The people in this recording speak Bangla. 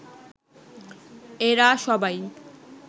এরা সবাই